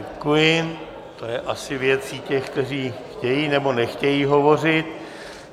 Děkuji, to je asi věcí těch, kteří chtějí, nebo nechtějí hovořit.